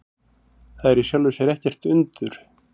Það er í sjálfu sér ekkert undur.